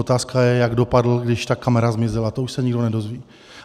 Otázka je, jak dopadl, když ta kamera zmizela, to už se nikdo nedozví.